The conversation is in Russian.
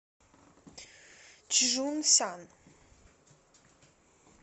чжунсян